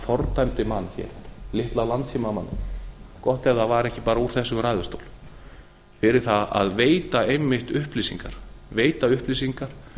fordæmdi mann hér litla landssímamanninn gott ef það var ekki úr þessum ræðustól fyrir það að veita einmitt upplýsingar